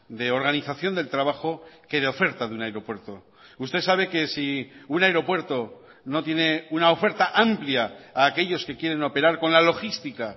de organización del trabajo que de oferta de un aeropuerto usted sabe que si un aeropuerto no tiene una oferta amplia a aquellos que quieren operar con la logística